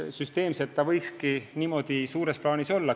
Süsteemselt see võikski niimoodi suures plaanis olla.